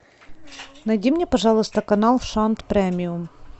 найди мне пожалуйста канал шант премиум